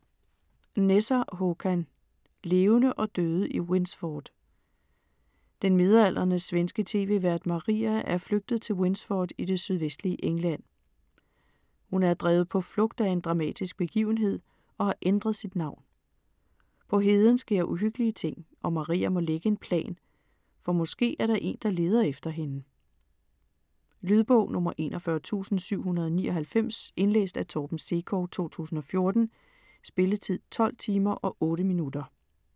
Nesser, Håkan: Levende og døde i Winsford Den midaldrende svenske tv-vært Maria er flygtet til Winsford i det sydvestlige England. Hun er drevet på flugt af en dramatisk begivenhed og har ændret sit navn. På heden sker uhyggelige ting, og Maria må lægge en plan, for måske er der en, der leder efter hende. Lydbog 41799 Indlæst af Torben Sekov, 2014. Spilletid: 12 timer, 8 minutter.